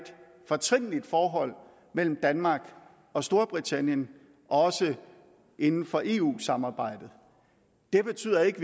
fortrinligt forhold mellem danmark og storbritannien også inden for eu samarbejdet det betyder ikke